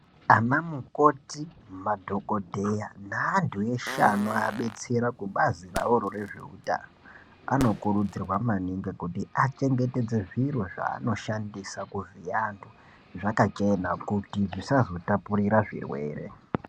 Ana mukoti madhokodheya neantu eshe anoabetsera kubazi ravoro rezveutano anokurudzirwa maningi kuti achengetedze zviro zvanoshandisa kuvhiya antu zvakachena kuti zvisazotpurira zvirwere.